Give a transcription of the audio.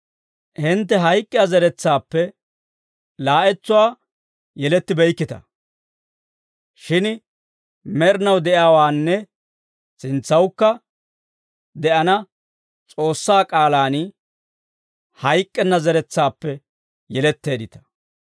Hintte hayk'k'iyaa zeretsaappe laa'entsuwaa yelettibeykkita; shin med'inaw de'iyaawaanne sintsawukka de'ana S'oossaa k'aalaan hayk'k'enna zeretsaappe yeletteeddita.